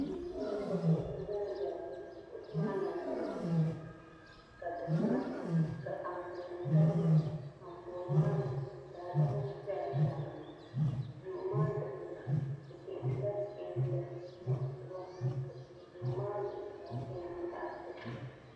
Duu puuni. ka kuɣisi za nzaya. kuɣisi maa. nyɛla kala. sabila. ka di kuna. ka. anfooni tabtabya. anfooni maa zuɣu. daa dama shaŋani. duu maa. dikpuna. di pɛɛntila. pɛɛnta muɣusigu. ka duu maa. zuɣu saa pɛɛnti zaɣpelli.